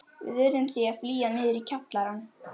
Við urðum því að flýja niður í kjallarann.